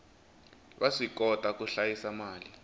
va swikota ku hlayisa mali